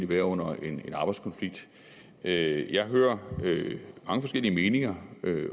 være under en arbejdskonflikt jeg jeg hører mange forskellige meninger